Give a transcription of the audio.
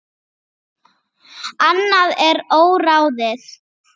Annað er óráðið.